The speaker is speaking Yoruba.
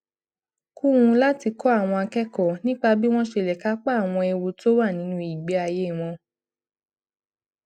kún un láti kọ àwọn akẹkọọ nípa bí wọn ṣe lè kápá àwọn ewu tó wà nínú ìgbé ayé wọn